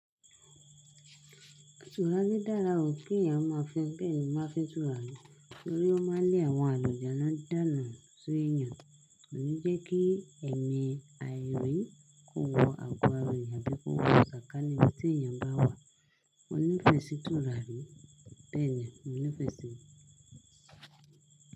Tùràrí dára o kí èyàn máa fín. Bẹ́ẹ̀ni, máa fín tùràrí torí ó máa ń lé àwọn àlujánnu dánù seyàn. Kò ní jẹ́ kí èmi àìrí kò wo ago ara èyàn abí kò wo sàkání tí èyàn bá wà. Mo nífẹ̀ẹ́ sì tùràrí, bẹ́ẹ̀ ni mo nífẹ̀ẹ́ síi.